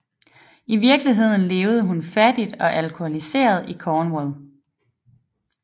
I virkeligheden levede hun fattig og alkoholiseret i Cornwall